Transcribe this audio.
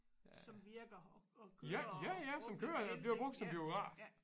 Som virker og kører og brugt efter hensigten ja ja